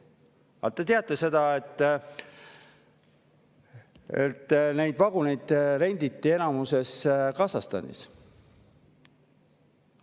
Aga kas te teate seda, et neid vaguneid renditi enamasti Kasahstanis?